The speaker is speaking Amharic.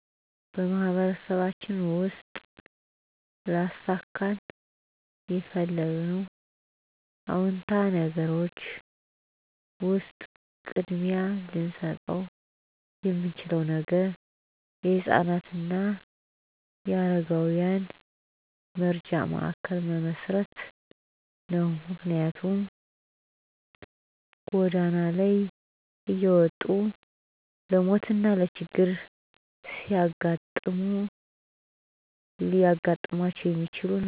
በማህበረሰባችን ውስጥ ላሳካ የምፈልገው አወንታዊ ነገሮች ውሰጥ ቅድሚያ ልሰጠው የምችለው ነገር የህፃናት አና የአረጋውያን መረጃ ማእከል መመሰረት ነው። ምክንያትም ጎዳና ላይ እየወጡ ለሞት አና ለችግር ስለሚጋለጡ ነው።